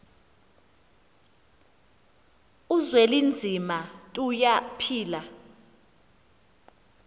uzwelinzima tuya phila